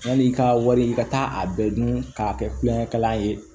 Yanni i ka wari i ka taa a bɛɛ dun k'a kɛ kulonkɛ kalan ye